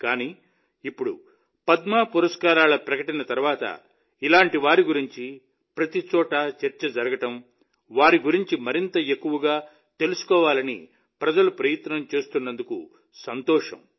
కానీ ఇప్పుడు పద్మ పురస్కారాల ప్రకటన తర్వాత ఇలాంటి వారి గురించి ప్రతి చోటా చర్చ జరగడం వారి గురించి మరింత ఎక్కువగా తెలుసుకోవాలని ప్రజలు ప్రయత్నం చేస్తున్నందుకు సంతోషం